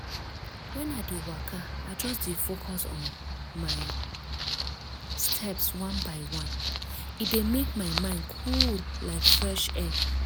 when i dey waka i just dey focus on my steps one by one. e dey make my mind cool like fresh air.